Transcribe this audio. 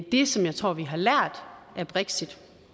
det som jeg tror vi har lært af brexit